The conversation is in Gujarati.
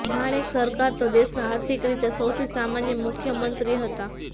માણેક સરકાર તો દેશના આર્થિક રીતે સૌથી સામાન્ય મુખ્યમંત્રી હતા